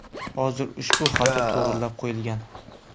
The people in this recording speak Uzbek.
Hozir ushbu xato to‘g‘irlab qo‘yilgan.